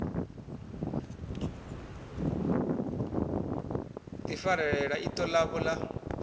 ḓi farelela iṱo ḽavho ḽa